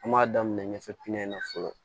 An b'a daminɛ ɲɛfɛ pinɛ na fɔlɔ